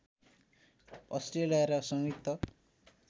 Australia र संयुक्त